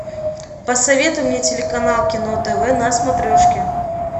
посоветуй мне телеканал кино тв на смотрешке